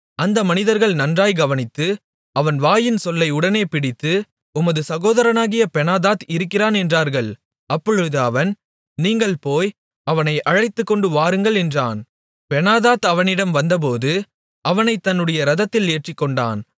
அந்த மனிதர்கள் நன்றாய்க் கவனித்து அவன் வாயின்சொல்லை உடனே பிடித்து உமது சகோதரனாகிய பெனாதாத் இருக்கிறான் என்றார்கள் அப்பொழுது அவன் நீங்கள் போய் அவனை அழைத்துக்கொண்டு வாருங்கள் என்றான் பெனாதாத் அவனிடம் வந்தபோது அவனைத் தன்னுடைய இரதத்தில் ஏற்றிக்கொண்டான்